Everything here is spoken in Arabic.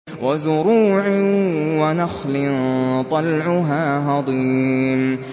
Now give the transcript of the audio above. وَزُرُوعٍ وَنَخْلٍ طَلْعُهَا هَضِيمٌ